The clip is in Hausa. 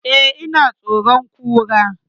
Eh, ina tsoron Kura